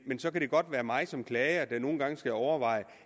så kan det godt være mig som klager der nogle gange skal overveje